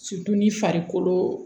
ni farikolo